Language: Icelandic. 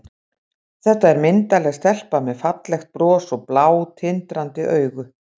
Þetta er myndarleg stelpa með fallegt bros og blá, tindrandi augu.